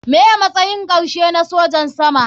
Me matsayin karshe na sojin sama.